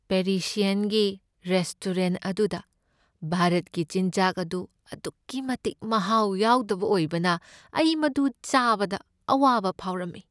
ꯄꯦꯔꯤꯁꯤꯌꯟꯒꯤ restaurant ꯑꯗꯨꯗ ꯚꯥꯔꯠꯀꯤ ꯆꯤꯟꯖꯥꯛ ꯑꯗꯨ ꯑꯗꯨꯛꯀꯤ ꯃꯇꯤꯛ ꯃꯍꯥꯎ ꯌꯥꯎꯗꯕ ꯑꯣꯏꯕꯅ ꯑꯩ ꯃꯗꯨ ꯆꯥꯕꯗ ꯑꯋꯥꯕ ꯐꯥꯎꯔꯝꯃꯤ ꯫